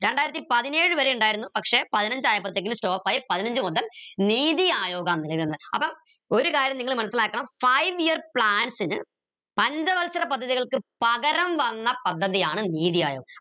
രണ്ടായിരത്തി പതിനേഴ് വരെ ഉണ്ടായിരുന്നു പക്ഷേ പതിനഞ്ചായപ്പൾത്തേക്ക് stop ആയി പതിനഞ്ചു മുതൽ നീതി ആയോഗ അപ്പൊ ഒരു കാര്യം നിങ്ങൾ മനസ്സിലാക്കണം five year plans ന് പഞ്ചവത്സര പദ്ധതികൾക്ക് പകരം വന്ന പദ്ധതിയാണ് നീതി ആയോ